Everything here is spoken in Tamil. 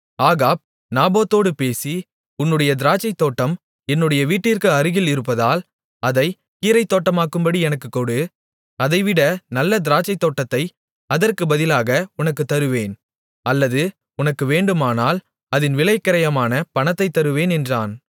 ஆகாப் நாபோத்தோடு பேசி உன்னுடைய திராட்சைத்தோட்டம் என்னுடைய வீட்டிற்கு அருகில் இருப்பதால் அதைக் கீரைத்தோட்டமாக்கும்படி எனக்குக் கொடு அதைவிட நல்ல திராட்சைத்தோட்டத்தை அதற்குப் பதிலாக உனக்குத் தருவேன் அல்லது உனக்கு வேண்டுமானால் அதின் விலைக்கிரயமான பணத்தைத் தருவேன் என்றான்